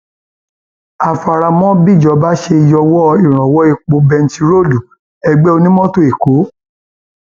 a fara mọ bíjọba ṣe yọwọ ìrànwọ epo bẹntiróòlù ẹgbẹ onímọtò ẹkọ